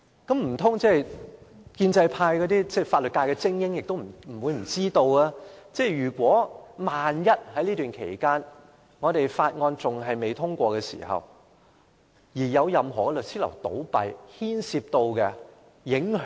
建制派的法律界精英不可能不知道，萬一在法案有待通過的期間有任何律師樓倒閉，將有重大影響。